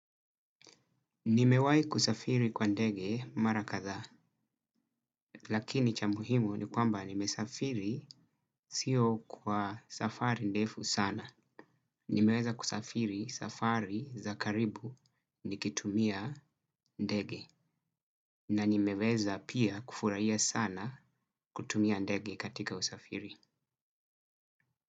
Nimewai kusafiri kwa ndege mara kadhaa, lakini cha muhimu ni kwamba nimesafiri sio kwa safari ndefu sana. Nimeweza kusafiri safari za karibu nikitumia ndege na nimeweza pia kufuraia sana kutumia ndege katika usafiri.